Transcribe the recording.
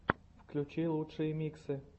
включи лучшие миксы